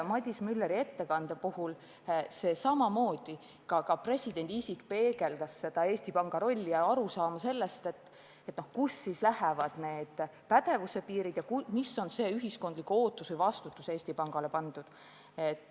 Madis Müller selgitas oma ettekandes Eesti Panga rolli ja arusaama sellest, kust lähevad pädevuse piirid ja milline on ühiskondlik ootus keskpangale, milline vastutus on Eesti Pangale pandud.